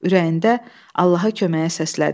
Ürəyində Allaha köməyə səslədi.